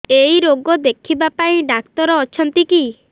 ଏଇ ରୋଗ ଦେଖିବା ପାଇଁ ଡ଼ାକ୍ତର ଅଛନ୍ତି କି